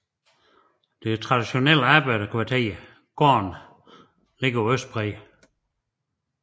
Det traditionelle arbejderkvarter Gaarden ligger på østbredden